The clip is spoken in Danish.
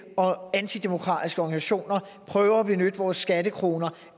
og antidemokratiske organisationer prøver at benytte vores skattekroner